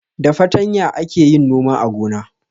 Da fartanya ake yin noma a gona.